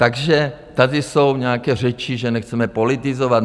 Takže tady jsou nějaké řeči, že nechceme politizovat.